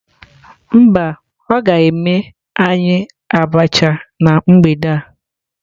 Mba, o ga eme anyi abacha na mgbede a